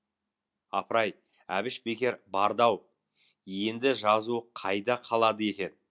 апыр ай әбіш бекер барды ау енді жазуы қайда қалады екен